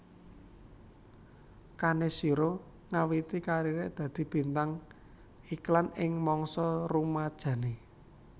Kaneshiro ngawiti kariré dadi bintang iklan ing mangsa rumajané